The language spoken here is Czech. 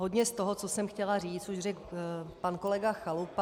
Hodně z toho, co jsem chtěla říct, už řekl pan kolega Chalupa.